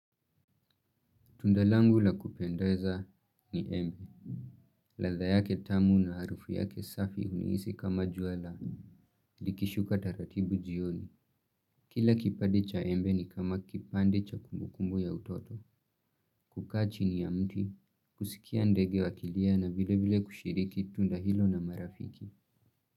Tunda langu la kupendeza ni embe. Ladha yake tamu na harufu yake safi unihisi kama jua la. Likishuka taratibu jioni. Kila kipande cha embe ni kama kipande cha kumbukumbu ya utoto. Kukaa chini ya mti. Kusikia ndege wakilia na vile vile kushiriki tunda hilo na marafiki.